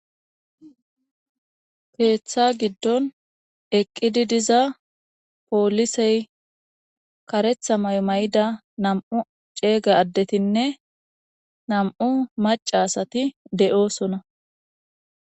peeththa giddon eqqidi diza poolisey karetha maymay7ida nam7u ceeyga addetinne nam7u macaasati de7oosona